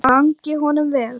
Gangi honum vel.